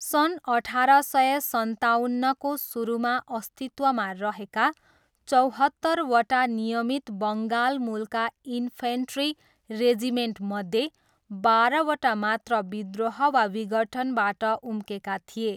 सन् अठार सय सन्ताउन्नको सुरुमा अस्तित्वमा रहेका चौहत्तरवटा नियमित बङ्गालमूलका इन्फेन्ट्री रेजिमेन्टमध्ये बाह्रवटा मात्र विद्रोह वा विघटनबाट उम्केका थिए।